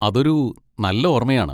അതൊരു നല്ല ഓർമ്മയാണ്.